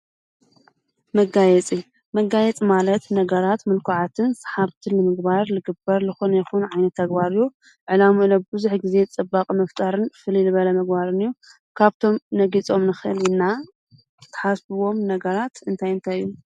መጋየፂ፡- መጋየፂ ማለት ነገራት ምልኰዓትን ሰሓብትን ንምግባር ልግበር ልኾነ ይኹን ዓይነት ተግባር አዩ፡፡ ዕላምኡ ለ ብዙሕ ጊዜ ፅባቐ ንምፍጣርን ፍልይ ልበለ ምግባርን እዩ፡፡ ካብቶም ነጊፆም ንኽእል ና ተሓስብዎም ነገራት እንታይንተዩ